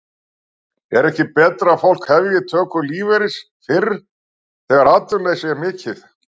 En er ekki betra að fólk hefji töku lífeyris fyrr þegar atvinnuleysi er mikið?